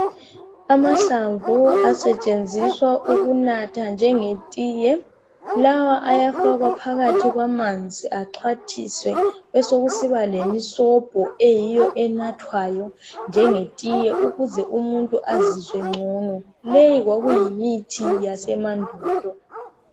Amahlamvu asetshenziswa ukunatha njenge tiye, lawa ayafakwa phakathi kwamanzi axhwathiswe. Besekusiba lemisobho eyiyo enathwayo njengetiye ukuze umuntu azizwe ngcono, leyi kwakuyimithi yesemandulo.